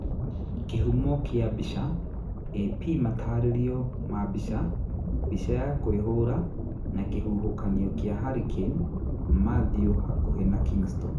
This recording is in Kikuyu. Kihumo kia bicha, AP mataririo ma mbica, mbica ya kuĩhura na kĩhuhũkanio kĩa Hurricane Mathew hakuhĩ na Kingston.